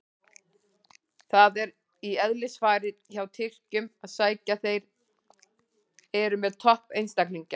Það er í eðlisfari hjá Tyrkjunum að sækja, þeir eru með topp einstaklinga.